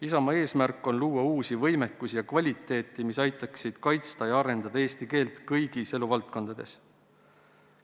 Isamaa eesmärk on luua uusi võimekusi ja uut kvaliteeti, mis aitaks kaitsta ja arendada eesti keelt kõigis eluvaldkondades.